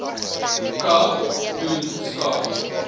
kaap doen skakel